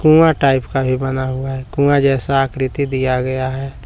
कुआं टाइप का भी बना हुआ है कुआं जैसा आकृति दिया गया है।